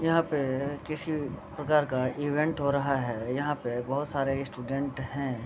यहाँ पे किसी प्रकार का इवेंट हो रहा है यहाँ पे बहुत सारे स्टूडेंट है।